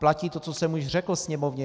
Platí to, co jsem už řekl Sněmovně.